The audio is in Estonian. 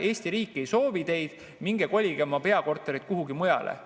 Eesti riik ei soovi teid, minge kolige oma peakorterid kuhugi mujale.